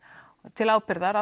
til ábyrgðar